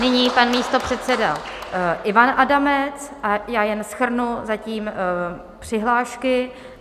Nyní pan místopředseda Ivan Adamec a já jen shrnu zatím přihlášky.